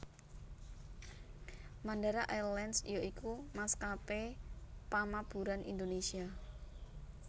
Mandala Airlines ya iku maskapé pamaburan Indonesia